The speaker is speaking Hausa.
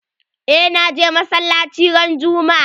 Eh na je masallaci ran juma'a.